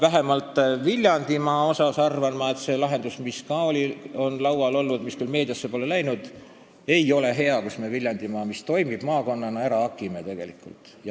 Vähemalt Viljandimaa kohta arvan ma, et see lahendus, mis ka on laual olnud, aga mis küll meediasse pole jõudnud, ei ole hea, sest siis saab Viljandimaa, mis toimib maakonnana, ära hakitud.